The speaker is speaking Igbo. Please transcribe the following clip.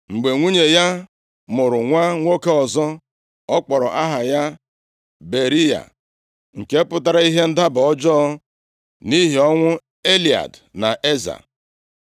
Mgbe nwunye ya mụrụ nwa nwoke ọzọ, ọ kpọrọ aha ya Beriya, nke pụtara, Ihe ndaba ọjọọ, nʼihi ọnwụ Elead na Eza.